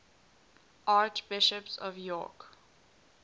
archbishops of york